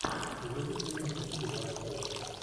вруби киношку в стиле артхауса